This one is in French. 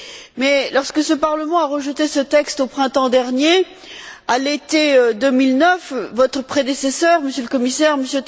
Mais lorsque le Parlement a rejeté ce texte au printemps dernier, à l'été 2009, votre prédécesseur, Monsieur le Commissaire, M.